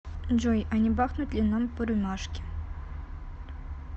джой а не бахнуть ли нам по рюмашке